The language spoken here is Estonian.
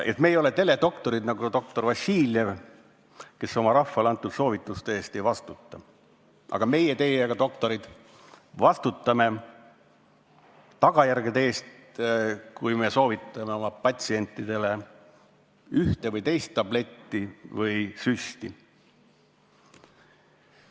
Aga me ei ole teledoktorid nagu Vassiljev, kes enda antud soovituste eest ei vastuta, vaid meie teiega, doktorid, vastutame tagajärgede eest, kui soovitame patsientidele üht või teist tabletti või süsti.